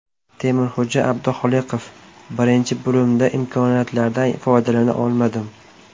Temurxo‘ja Abduxoliqov: Birinchi bo‘limda imkoniyatlardan foydalana olmadim.